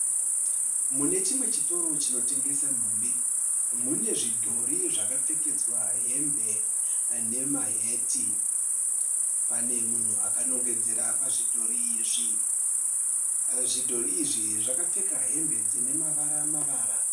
Mune chimwe chitoro chinotengesa nhumbi. Mune zvidhori zvakapfekedzwa hembe nemaheti. Pane munhu akanongedzera pazvidhori izvi. Zvidhori izvi zvakapfeka hembe dzine mavara mavara.